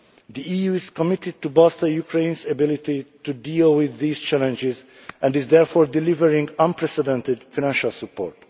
The EU is committed to bolstering Ukraine's ability to deal with these challenges and is therefore delivering unprecedented financial support.